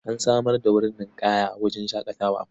An samar da wurin ninƙaya a wajen shaƙatawar.